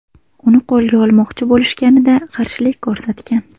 Uni qo‘lga olmoqchi bo‘lishganida qarshilik ko‘rsatgan.